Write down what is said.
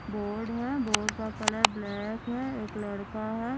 Board है board का colour black है एक लड़का है।